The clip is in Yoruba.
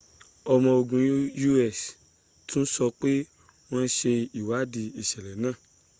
ọmo ogun us tún sọ pé wọ́n ṣe ìwádìí ìṣẹ̀lẹ̀ náà